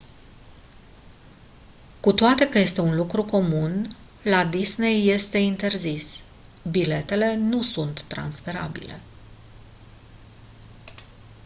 cu toate că este un lucru comun la disney este interzis biletele nu sunt transferabile